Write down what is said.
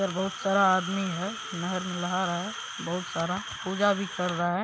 यहाँ पर बहुत सारा आदमी हैं नहर में नहा रहा है बहुत सारा पूजा भी कर रहा है।